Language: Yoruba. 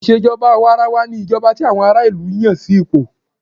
Ìṣèjọba àwàrawa ní ìjọba tí àwọn ará ìlú Yàn sí ipò.